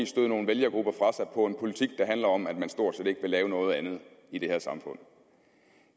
støde nogle vælgergrupper fra politik der handler om at man stort set ikke vil lave noget andet i det her samfund